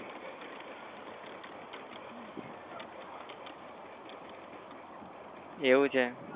એવું છે